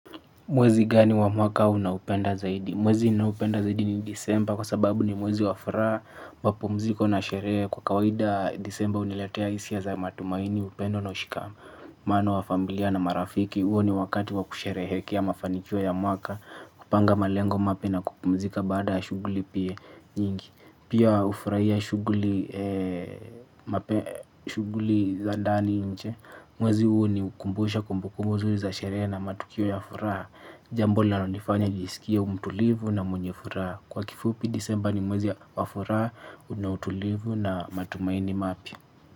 Mwezi gani wa mwaka unaupenda zaidi? Mwezi ninaopenda zaidi ni disemba kwa sababu ni mwezi wa furaha mapumziko na sherehe kwa kawaida disemba huniletea hisia za matumaini upendo na ushikamano wa familia na marafiki huo ni wakati wa kusherehekea mafanikio ya mwaka kupanga malengo mapya na kupumzika baada ya shughuli pia nyingi. Pia hufurahia shughuli za ndani nje. Mwezi huo ni ukumbusha kumbukumbu nzuri za sherehe na matukio ya furaha. Jambo linalonifanya nisikie mtulivu na mwenye furaha kwa kifupi disemba ni mwezi wa furaha. Una utulivu na matumaini mapya.